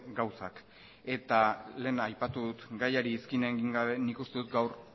gauzak lehen aipatu dut gaiari iskin egin gabe nik uste dut gaur